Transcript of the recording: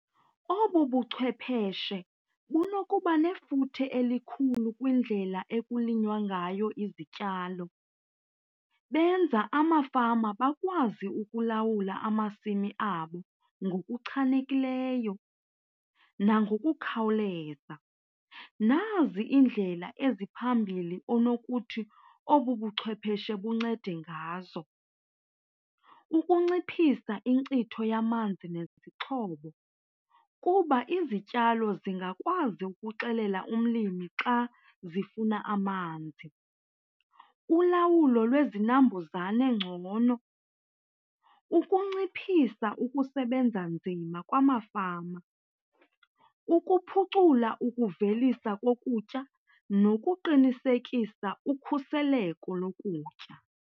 Obu buchwepheshe bunokuba nefuthe elikhulu kwindlela ekulinywa ngayo izityalo. Benza amafama akwazi ukulawula amasimi abo ngokuchanekileyo nangokukhawuleza. Nazi iindlela eziphambili onokuthi obu buchwepheshe buncede ngazo. Ukunciphisa inkcitho yamanzi nezixhobo kuba izityalo zingakwazi ukuxelela umlimi xa zifuna amanzi. Ulawulo lwezinambuzane ngcono, ukunciphisa ukusebenza nzima kwamafama. Ukuphucula ukuvelisa kokutya nokuqinisekisa ukhuseleko lokutya.